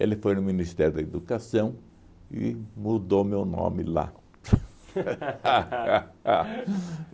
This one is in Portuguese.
Ele foi no Ministério da Educação e mudou meu nome lá